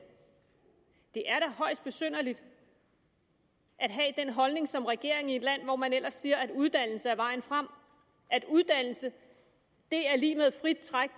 det er da højst besynderligt at have den holdning som regering i et land hvor man ellers siger at uddannelse er vejen frem at uddannelse er lig med et frit træk